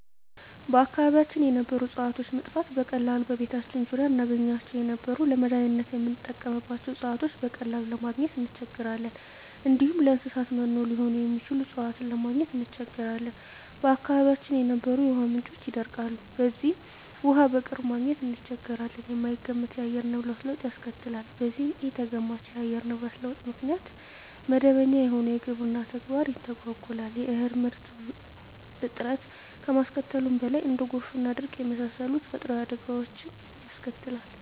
በአካባቢያችን የነበሩ እጽዋቶች መጥፋት፤ በቀላሉ በቤታችን ዙሪያ እናገኛቸው የነበሩ ለመዳኒትነት ምንጠቀምባቸው እጽዋቶችን በቀላሉ ለማግኝ እንቸገራለን፣ እንዲሁም ለእንሰሳት መኖ ሊሆኑ የሚችሉ እጽዋትን ለማግኘት እንቸገራለን፣ በአካባቢያችን የነበሩ የውሃ ምንጮች ይደርቃሉ በዚህም ውሃ በቅርብ ማግኘት እንቸገራለን፣ የማይገመት የአየር ንብረት ለውጥ ያስከትላል በዚህም ኢተገማች የአየር ንብረት ለውጥ ምክንያት መደበኛ የሆነው የግብርና ተግባር ይተጓጎላል የእህል ምርት እጥረት ከማስከተሉም በላይ እንደ ጎርፍና ድርቅ የመሳሰሉ ተፈጥሮአዊ አደጋወችንም ያስከትላል።